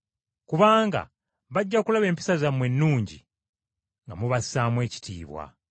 Kubanga bajja kulaba empisa zammwe ennungi nga mubassaamu ekitiibwa.